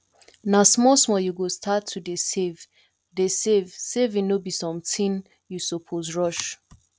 na small small you go start to dey save dey save saving no be something you suppose rush